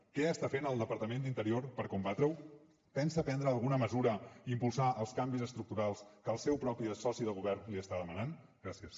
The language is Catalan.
què està fent el departament d’interior per combatre ho pensa prendre alguna mesura i impulsar els canvis estructurals que el seu propi soci de govern li està demanant gràcies